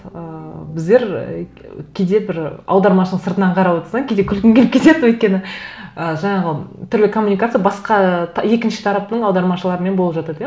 ыыы біздер ііі кейде бір аудармашыны сыртынан қарап отырсаң кейде күлкің келіп кетеді өйткені ы жаңағы түрлі коммуникация басқа екінші тараптың аудармашыларымен болып жатады иә